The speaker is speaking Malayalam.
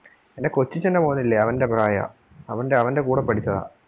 എൻ്റെ കൊച്ചച്ഛന്റെ മോനില്ലേ അവന്റെ പ്രായവാ അവന്റെ അവന്റെ കൂടെ പഠിച്ചതാ.